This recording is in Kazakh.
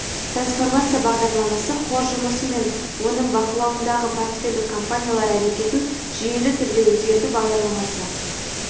трансформация бағдарламасы қор жұмысы мен оның бақылауындағы портфельдік компаниялар әрекетін жүйелі түрде өзгерту бағдарламасы